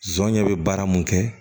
Zonɲɛ be baara mun kɛ